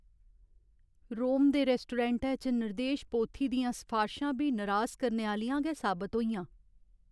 रोम दे रैस्टोरैंटै च निर्देश पोथी दियां सफारशां बी नरास करने आह्लियां गै साबत हेइयां ।